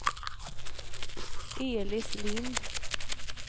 Elis Lind